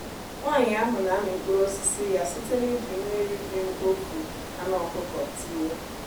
nwanyị ahụ na-amị mkpụrụ osisi ya site n'iji mmiri ji mkpofu anụ ọkụkọ tiwe.